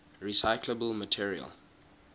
recyclable materials